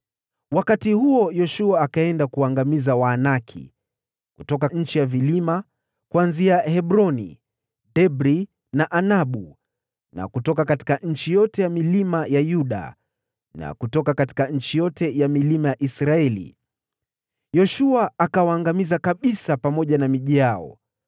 Wakati huo Yoshua akaenda kuwaangamiza Waanaki kutoka nchi ya vilima: kuanzia Hebroni, Debiri na Anabu, na kutoka nchi yote ya vilima ya Yuda na kutoka nchi yote ya vilima ya Israeli. Yoshua akawaangamiza kabisa pamoja na miji yao.